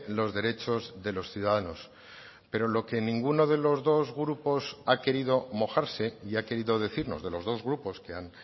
los derechos de los ciudadanos pero lo que ninguno de los dos grupos ha querido mojarse y ha querido decirnos de los dos grupos que han